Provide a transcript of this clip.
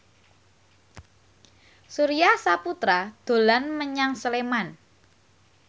Surya Saputra dolan menyang Sleman